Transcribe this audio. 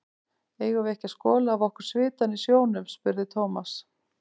Eigum við ekki að skola af okkur svitann í sjónum? spurði Thomas.